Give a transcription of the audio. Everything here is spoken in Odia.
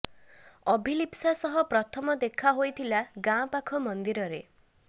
ଅଭିଲିସ୍ପା ସହ ପ୍ରଥମ ଦେଖା ହୋଇଥିଲା ଗାଁ ପାଖ ମନ୍ଦିରରେ